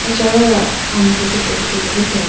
acha wa amuku chee photo tulitelayi bi.